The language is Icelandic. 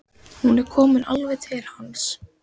Hún er komin alveg til hans.